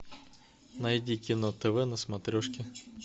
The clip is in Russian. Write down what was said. найди кино тв на смотрешке